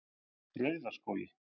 Rauðaskógi